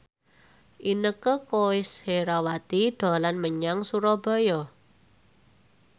Inneke Koesherawati dolan menyang Surabaya